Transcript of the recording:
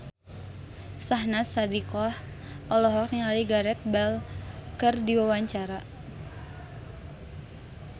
Syahnaz Sadiqah olohok ningali Gareth Bale keur diwawancara